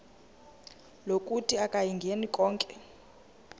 lokuthi akayingeni konke